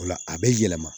O la a bɛ yɛlɛma